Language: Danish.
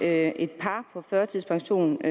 at et par på førtidspension i